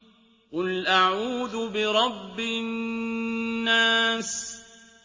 قُلْ أَعُوذُ بِرَبِّ النَّاسِ